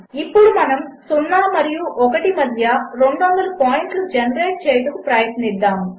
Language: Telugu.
ఇప్పుడుమనము 0 మరియు 1 మధ్య 200 పాయింట్లుజెనరేట్చేయుటకుప్రయత్నిద్దాము